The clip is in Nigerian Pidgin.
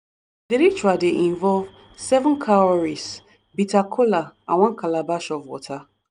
di ritual dey involve seven cowries bitter kola and one calabash of water.